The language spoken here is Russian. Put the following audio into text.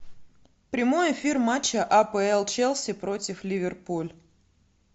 прямой эфир матча апл челси против ливерпуль